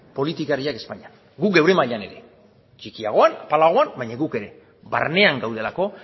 politikariek espainian guk gure mailan ere txikiagoan apalagoan baina guk ere barnean gaudelako